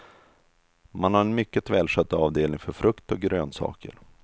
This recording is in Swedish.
Man har en mycket välskött avdelning för frukt och grönsaker.